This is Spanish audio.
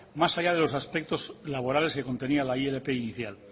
más allá de los aspectos laborales que contenía la ilp inicial